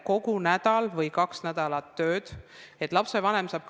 Mis puutub esimesse punkti, siis nagu ma eelnevalt ütlesin, EAS püüab olla nii paindlik kui vähegi võimalik.